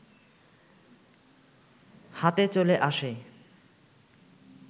হাতে চলে আসে